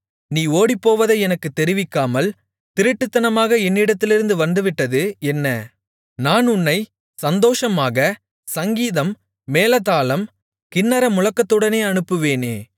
நீ ஓடிப்போவதை எனக்குத் தெரிவிக்காமல் திருட்டுத்தனமாக என்னிடத்திலிருந்து வந்துவிட்டது என்ன நான் உன்னை சந்தோஷமாக சங்கீதம் மேளதாளம் கின்னரமுழக்கத்துடனே அனுப்புவேனே